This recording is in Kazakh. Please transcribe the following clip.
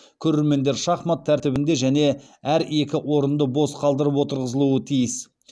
көрермендер шахмат тәртібінде және әр екі орынды бос қалдырып отырғызылуы тиіс